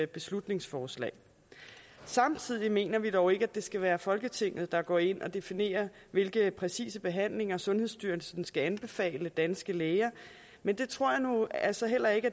beslutningsforslag samtidig mener vi dog ikke at det skal være folketinget der går ind og definerer hvilke præcise behandlinger sundhedsstyrelsen skal anbefale danske læger men det tror jeg nu altså heller ikke